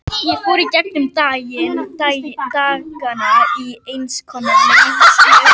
Ég fór í gegnum dagana í eins konar leiðslu.